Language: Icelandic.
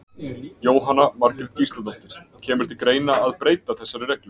Jóhanna Margrét Gísladóttir: Kemur til greina að breyta þessari reglu?